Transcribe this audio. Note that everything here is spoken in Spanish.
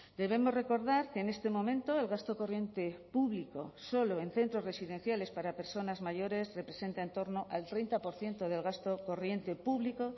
debemos recordar que en este momento el gasto corriente público solo en centros residenciales para personas mayores representa en torno al treinta por ciento del gasto corriente público